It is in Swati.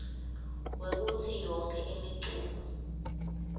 kwekutsi yonkhe imiculu